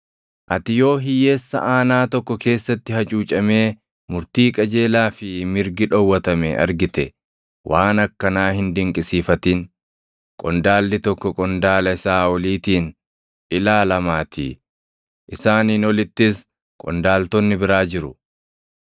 Ati yoo hiyyeessa aanaa tokko keessatti hacuucamee murtii qajeelaa fi mirgi dhowwatame argite, waan akkanaa hin dinqisiifatin; qondaalli tokko qondaala isaa oliitiin ilaalaamaatii; isaaniin olittis qondaaltonni biraa jiru.